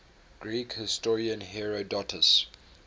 greek historian herodotus